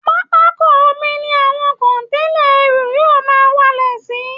Pápákọ omi ni àwọn kọ̀ǹténà ẹrù yóò máa balẹ̀ sí